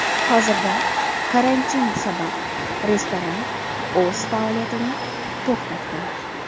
Hozirda karantin sabab restoran o‘z faoliyatini to‘xtatgan.